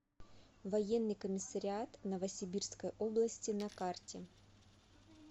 военный комиссариат новосибирской области на карте